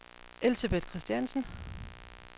Elsebeth Christiansen